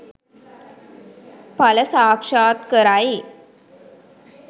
ඵල සාක්ෂාත් කරයි